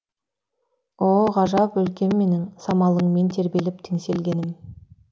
о ғажап өлкем менің самалыңмен тербеліп теңселгенім